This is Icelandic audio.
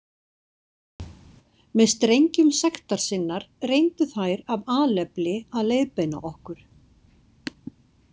Með strengjum sektar sinnar reyndu þær af alefli að leiðbeina okkur.